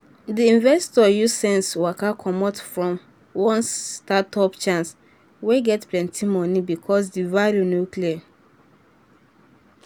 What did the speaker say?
um di investor use sense waka commot from one startup chance wey get plenty money um because di value no clear.